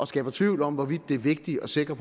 skaber tvivl om hvorvidt det er vigtigt at sikre